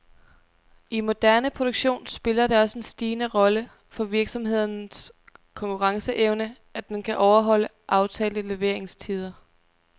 I moderne produktion spiller det også en stigende rolle for virksomhedens konkurrenceevne, at den kan overholde aftalte leveringstider.